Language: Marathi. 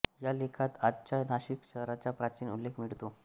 या लेखात आजच्या नाशिक शहराचा प्राचीन उल्लेख मिळतो